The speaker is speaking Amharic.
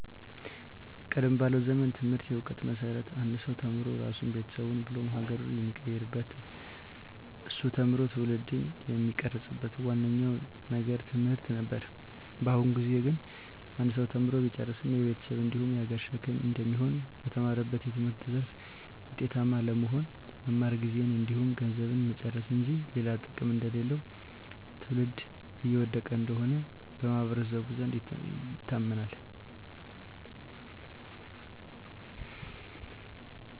ቀደም ባለው ጊዜ ትምህርት የእውቀት መሰረት አንድ ሰው ተምሮ ራሱን ቤተሰቡን ብሎም ሀገሩን የሚቀይርበት እሱ ተምሮ ትውልድን የሚቀርፅበት ዋናው ነገር ትምህርት ነበር። በአሁኑ ጊዜ ግን አንድ ሰው ተምሮ ቢጨርስም የቤተሰብ እንዲሁም የሀገር ሸክም እንደሚሆን፣ በተማረበት የትምህርት ዘርፍ ውጤታማ አለመሆን፣ መማር ጊዜን እንዲሁም ገንዘብን መጨረስ እንጂ ሌላ ጥቅም እንደሌለው ትውልድ እየወደቀ እንደሆነ በማህበረሰቡ ዘንድ ይታመናል።